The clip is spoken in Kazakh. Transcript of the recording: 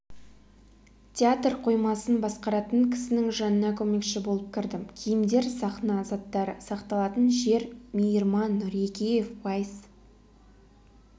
театр қоймасын басқаратын кісінің жанына көмекші болып кірдім киімдер сахна заттары сақталатын жер мейірман нұрекеев уайс